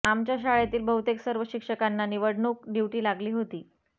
आमच्या शाळेतील बहुतेक सर्व शिक्षकांना निवडणूक ड्यूटी लागली होती